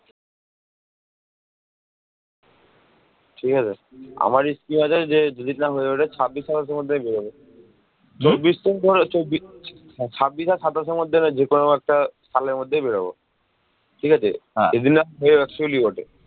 ঠিক আছে, আমার scheme আছে যে যদি plan হয়ে ওঠে যে ছাব্বিশ সাতাশের মধ্যে আমি বেরোবো ছাব্বিশ আর সাতাশের মধ্যে যেকোনো একটা সালের মধ্যেই বেরোবো, ঠিক আছে